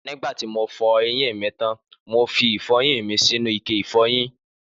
Nígbàtí mo fọ eyín mi tán, mo fi ìfọyín mi sínú ike ìfọyín